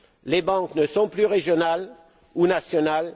Les banques ne sont plus régionales ou nationales.